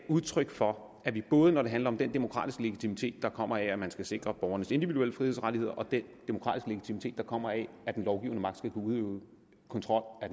udtryk for at det både når det handler om den demokratiske legitimitet der kommer af at man skal sikre borgernes individuelle frihedsrettigheder og den demokratiske legitimitet der kommer af at den lovgivende magt skal kunne udøve kontrol